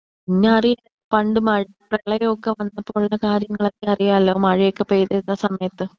അത് ശരി തന്നെ. പിന്നെ അറിയാലോ പണ്ട് പ്രളയമൊക്കെ വന്നപ്പോളുള്ളു കാര്യങ്ങളൊക്കെ അറിയാലോ മഴയൊക്കെ പെയ്തിരുന്ന സമയത്ത്.